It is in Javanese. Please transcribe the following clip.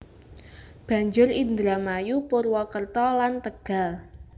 Banjur Indramayu Purwokerto lan Tegal